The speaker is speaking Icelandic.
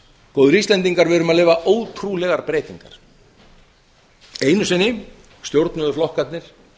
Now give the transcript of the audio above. góðir íslendingar við erum að lifa ótrúlegar breytingar einu sinni stjórnuðu flokkarnir